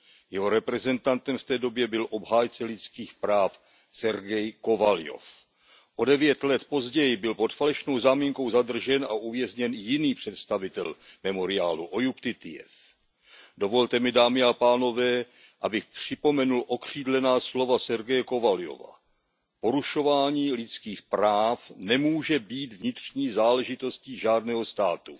Jeho reprezentantem v té době bych obhájce lidských práv Sergej Kovaljov. O devět let později byl pod falešnou záminkou zadržen a uvězněn jiný představitel Memoriálu Ojub Titijev. Dovolte mi, dámy a pánové, abych připomenul okřídlená slova Sergeje Kovaljova Porušování lidských práv nemůže být vnitřní záležitostí žádného státu.